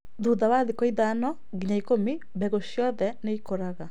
Thutha wa thikũ ithano nginya ikũmi, mbegũ ciothe nĩ ikũraga